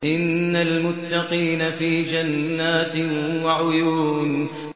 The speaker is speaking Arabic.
إِنَّ الْمُتَّقِينَ فِي جَنَّاتٍ وَعُيُونٍ